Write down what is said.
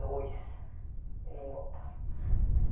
Dois e não voltava.